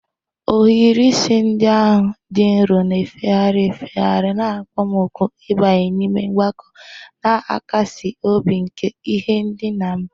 Ohiri isi ndị ahụ dị nro, na-efegharị efegharị na-akpọ m òkù ịbanye n'ime mmakụ na-akasi obi nke ihe ndina m.